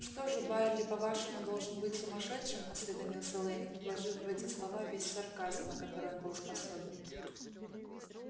что же байерли по-вашему должен быть сумасшедшим осведомился лэннинг вложив в эти слова весь сарказм на который он был способен